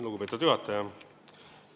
Lugupeetud juhataja!